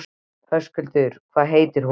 Höskuldur: Hvað heitir hún?